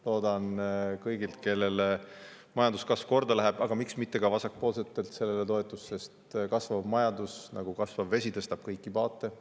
Loodan seda kõigilt, kellele majanduskasv korda läheb, aga miks mitte ka vasakpoolsetelt, sest kasvav majandus on nagu vesi, mis tõstab kõiki paate.